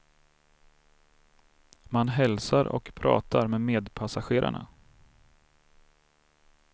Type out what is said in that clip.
Man hälsar och pratar med medpassagerarna.